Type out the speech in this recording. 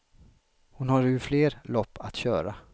Hon har ju fler lopp att köra.